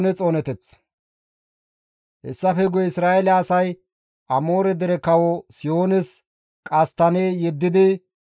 Hessafe guye Isra7eele asay Amoore dere kawo Sihoones qasttanne yeddidi,